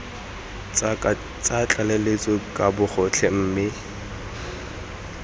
tsa tlaleletso ka bogotlhe mme